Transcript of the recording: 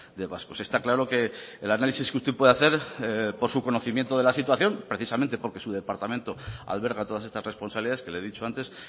de vascos está claro que el análisis que usted puede hacer por su conocimiento de la situación precisamente porque su departamento alberga todas estas responsabilidades que le he dicho antes